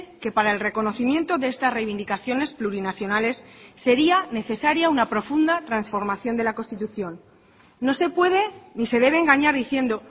que para el reconocimiento de estas reivindicaciones plurinacionales sería necesaria una profunda transformación de la constitución no se puede ni se debe engañar diciendo